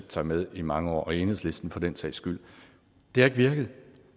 sig med i mange år og enhedslisten også for den sags skyld det har ikke virket